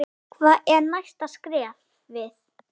Hvert er næsta skrefið?